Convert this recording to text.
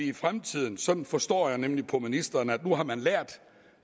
i fremtiden sådan forstår jeg nemlig ministeren at nu har man lært